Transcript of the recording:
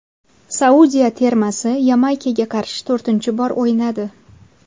Saudiya termasi Yamaykaga qarshi to‘rtinchi bor o‘ynadi.